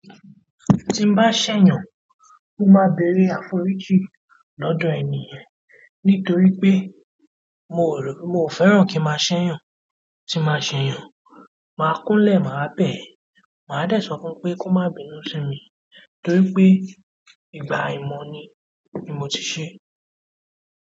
Tí n bá ṣẹ̀yàn, mó máa bere àforíjì lọ́dọ̀ ènìyàn nítorí pé mo rò, mo fẹ́ràn kí má ṣẹ̀yàn. Tí má ṣẹ̀yàn, máa kún lẹ̀, máa rà bẹ́ẹ̀. Máa dẹ̀ sọ fún pé kó má bínú sí mi torí pé ìgbà ìmọ̀ ni, ni mó ti ṣe.